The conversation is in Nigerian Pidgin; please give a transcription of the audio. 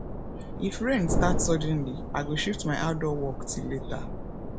if rain start suddenly i go shift my outdoor work till later